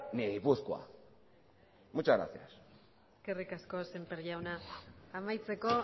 ni gipuzkoa muchas gracias eskerrik asko semper jauna amaitzeko